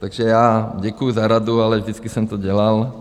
Takže já děkuju za radu, ale vždycky jsem to dělal.